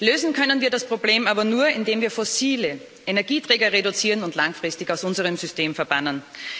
Lösen können wir das Problem aber nur, indem wir fossile Energieträger reduzieren und langfristig aus unserem System verbannen.